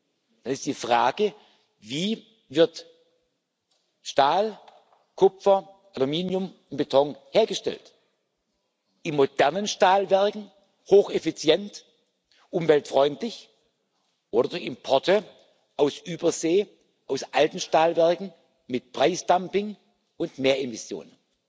Nun ist die Frage, wie Stahl, Kupfer, Aluminium und Beton hergestellt werden in modernen Stahlwerken, hocheffizient, umweltfreundlich oder durch Importe aus Übersee aus alten Stahlwerken, mit Preisdumping und mehr Emissionen.